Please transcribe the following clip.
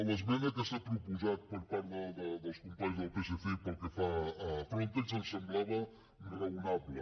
l’esmena que s’ha proposat per part dels companys del psc i pel que fa a frontex ens semblava raonable